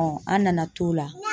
an nana t'o la